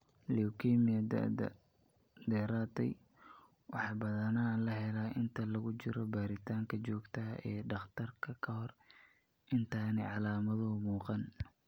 Leukemia-da daba-dheeraatay waxaa badanaa la helaa inta lagu jiro baaritaanka joogtada ah ee dhakhtarka ka hor intaanay calaamaduhu muuqan.